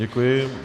Děkuji.